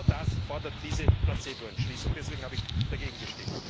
Und genau das fordert diese Placebo Entschließung. Deswegen habe ich dagegen gestimmt.